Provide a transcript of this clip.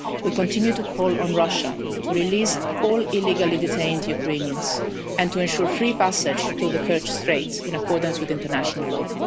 We continue to call on Russia to release all illegally detained Ukrainians, and to ensure free passage through the Kerch Strait in accordance with international